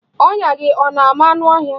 Ọnya gị ọ na-ama anụ ọhịa?